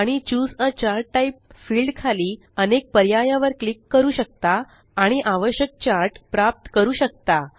आणि choose a chart type field खाली अनेक पर्याया वर क्लिक करू शकता आणि आवश्यक चार्ट प्राप्त करू शकता